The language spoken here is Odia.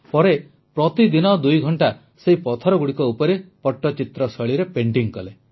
ପରେ ପ୍ରତିଦିନ ଦୁଇଘଂଟା ସେହି ପଥରଗୁଡ଼ିକ ଉପରେ ପଟ୍ଟଚିତ୍ର ଶୈଳୀରେ ପେଣ୍ଟିଂ କଲେ